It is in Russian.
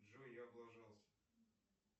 джой я облажался